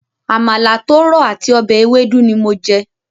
Àmàlà tó rọ̀ àti ọbẹ̀ ewédú ni mo jẹ.